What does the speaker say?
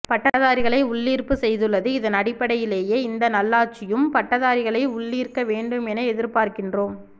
பட்டதாரிகளை உள்ளீர்ப்பு செய்துள்ளது இதன் அடிப்படையிலயே இந்த நல்லாட்சியும் பட்டதாரிகளை உள்ளீர்க்க வேண்டும் என எதிர்பாக்கின்றோம்